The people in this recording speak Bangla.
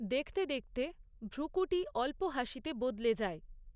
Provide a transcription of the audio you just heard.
দেখতে দেখতে ভ্রূকূটি অল্প হাসিতে বদলে যায়।